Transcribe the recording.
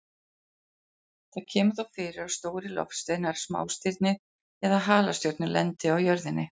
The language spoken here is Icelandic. Það kemur þó fyrir að stórir loftsteinar, smástirni eða halastjörnur lendi á jörðinni.